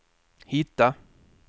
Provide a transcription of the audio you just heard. hitta